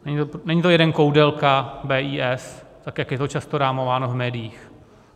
Není to jeden Koudelka, BIS, tak jak je to často rámováno v médiích.